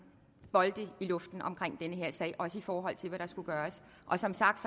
bolde i luften i den her sag også i forhold til hvad der skulle gøres og som sagt